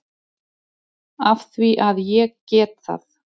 Af því að ég get það.